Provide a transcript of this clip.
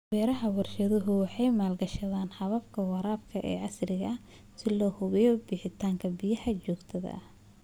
Beeraha warshaduhu waxay maalgashadaan hababka waraabka ee casriga ah si loo hubiyo bixinta biyaha joogtada ah.